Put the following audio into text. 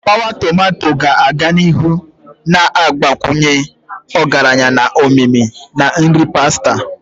Tapawa tomato ga-aga n'ihu na-agbakwunye ọgaranya na omimi na nri pasta.